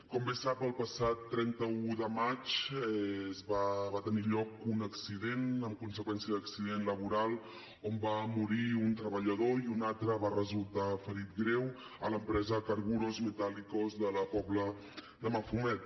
com bé sap el passat trenta un de maig va tenir lloc un accident amb conseqüència d’accident laboral on va morir un treballador i un altre va resultar ferit greu a l’empresa carburos metálicos de la pobla de mafumet